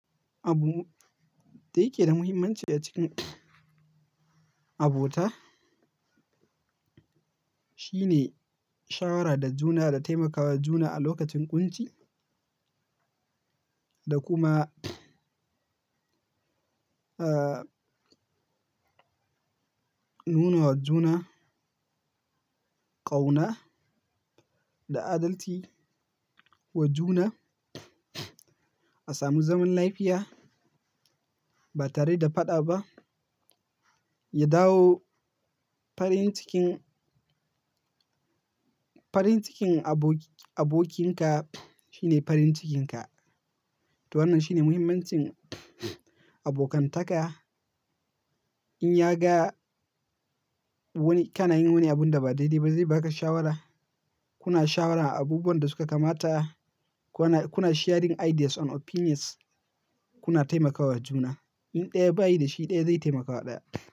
Abu da yake da muhimmanci a cikin abota shine shawara da juna da taimakawa juna a lokacin ƙunci da kuma, ah, nuna wa juna ƙauna da adalci wa juna. Asamu zaman lafiya ba tare da faɗa ba, ya dawo farin cikin, farin cikin abokin-- abokinka shine farin cikinka. To wannan shine muhimmancin abokantaka. In ya ga wani-- kana yin wani abun da ba daidai ba zai baka shawara. Kuna shawara a abubuwan da suka kamata, kuna, kuna sharing ideas and opinions, kuna taimakawa juna. In ɗaya bayi da shi ɗaya zai taimakawa ɗaya.